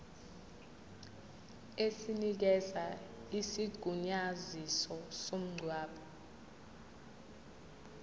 esinikeza isigunyaziso somngcwabo